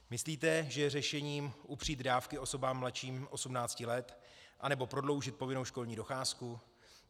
Myslíte, že je řešením upřít dávky osobám mladším 18 let, anebo prodloužit povinnou školní docházku?